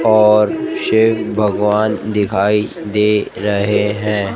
और शिव भगवान दिखाई दे रहे हैं।